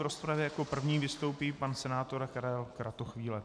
V rozpravě jako první vystoupí pan senátor Karel Kratochvíle.